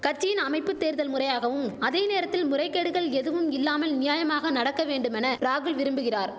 கட்சியின் அமைப்பு தேர்தல் முறையாகவும் அதே நேரத்தில் முறைகேடுகள் எதுவும் இல்லாமல் நியாயமாக நடக்க வேண்டுமென ராகுல் விரும்புகிறார்